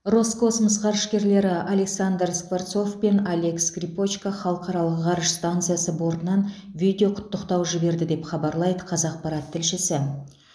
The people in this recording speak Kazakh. роскосмос ғарышкерлері александр скворцов пен олег скрипочка халықаралық ғарыш станциясы бортынан видеоқұттықтау жіберді деп хабарлайды қазақпарат тілшісі